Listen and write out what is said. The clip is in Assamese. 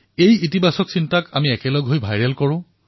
ধনাত্মক ভাৱক ভাইৰেল কৰক